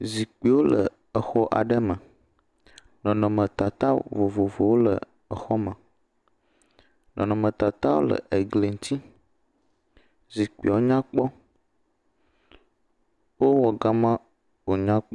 Zikpiwo le xɔ aɖe me. Nɔnɔmɔtata vovovowo le exɔme. nɔnɔmetatawo le egli ŋtsi. Zikpiwo nya kpɔ. Wowɔ gama wònya kpɔ.